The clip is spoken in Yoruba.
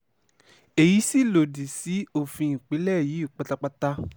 èyí sì lòdì sí òfin ìpínlẹ̀ yìí pátápátá